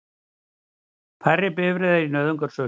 Færri bifreiðar í nauðungarsölu